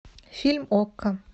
фильм окко